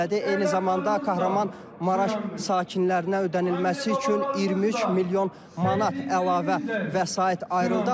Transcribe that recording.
Eyni zamanda Kahramanmaraş sakinlərinə ödənilməsi üçün 23 milyon manat əlavə vəsait ayrıldı.